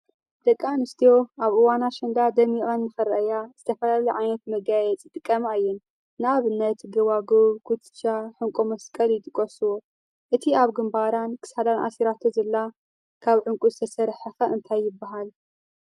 ደቂ ኣነስትዮ ኣብ እዋን ኣሸንዳ ደሚቐን ንኽረኣያ ዝተፈላለየ ዓይነት መጋየፂ ይጥቀማ እየን፡፡ ንኣብነት ጎባጒብ፣ ኩትቻ፣ ዑንቂ መስቀል ይጥቀሱ፡፡ እቲ ኣብ ግንባራን ክሳዳን ኣሲራቶ ዘላ ካብ ዑንቂ ዝተሰርሐ ኸ እንታይ ይበሃል?